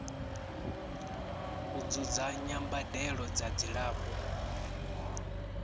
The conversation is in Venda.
u dzudzanya mbadelo dza dzilafho